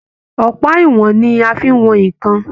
Ọpa ìwọn ní a fí n wọn nnkan.